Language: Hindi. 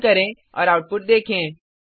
रन करें और आउटपुट देखें